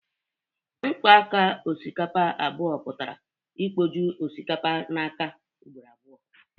Mkpo áká osikapa abụọ pụtara ikpoju osikapa áká ugboro abụọ.